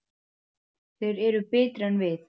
Þeir eru betri en við.